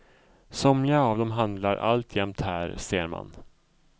Somliga av dem handlar alltjämt här, ser man.